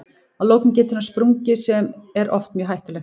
Að lokum getur hann sprungið sem er oft mjög hættulegt.